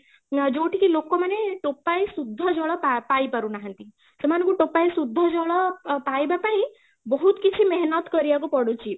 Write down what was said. ଯଉଁଠିକି ଲୋକ ମାନେ ଟୋପାଏ ଶୁଦ୍ଧ ଜଳ ପାଇ ପାନାହାଁନ୍ତି ସେମାନଙ୍କୁ ଟୋପାଏ ଶୁଦ୍ଧ ଜଳ ଅ ପାଇବା ପାଇଁ ବହୁତ କିଛି କରିବାକୁ ପଢୁଛି